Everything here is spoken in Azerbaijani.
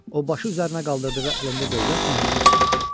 O başı üzərinə qaldırdığı əlində dövlət möhrünü tutmuşdu.